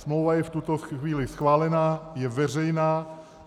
Smlouva je v tuto chvíli schválena, je veřejná.